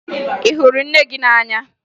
Ị hụrụ nne gị n'anya?